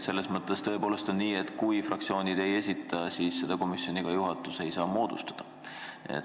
Selles mõttes on nii, et kui fraktsioonid kandidaati ei esita, siis seda komisjoni juhatus moodustada ei saa.